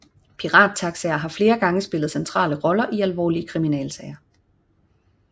Pirattaxaer har flere gange spillet centrale roller i alvorlige kriminalsager